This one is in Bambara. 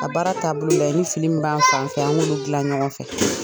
A baara taabolo la , ni fili min b'an fan fɛ, an k'o dilan ɲɔgɔn fɛ.